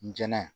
N jɛnɛ